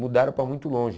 Mudaram para muito longe.